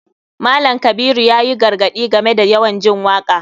Malam kabiru yayi gargaɗi game da yawan jin waka.